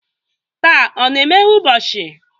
Taa ọ na-emeghe ụbọchị?